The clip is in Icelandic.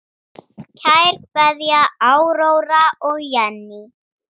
Kær kveðja, Áróra og Jenný.